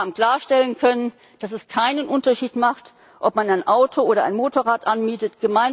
Wir haben klarstellen können, dass es keinen Unterschied macht, ob man ein Auto oder ein Motorrad anmietet